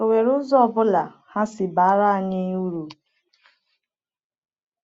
Ọ nwere ụzọ ọ bụla ha si bara anyị uru?